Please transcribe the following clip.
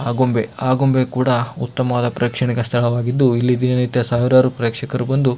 ಆಗುಂಬೆ ಆಗುಂಬೆ ಕೂಡ ಉತ್ತಮವಾದ ಪ್ರೇಕ್ಷಣಿಕ ಸ್ಥಳವಾಗಿದ್ದು ಇಲ್ಲಿ ದಿನ ನಿತ್ಯ ಸಾವಿರಾರು ಪ್ರೇಕ್ಷಕರು ಬಂದು --